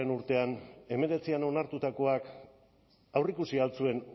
urtean hemeretzian onartutakoak aurreikusi al zuen